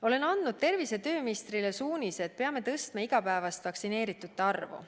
Olen andnud tervise- ja tööministrile suunised, et me peame tõstma igapäevast vaktsineeritute arvu.